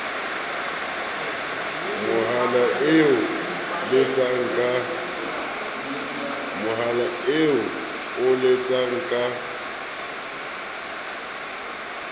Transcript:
mohala eo o letsang ka